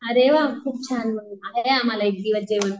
आरे वा खूप छान मग आहे आम्हाला एक दिवस जेवण.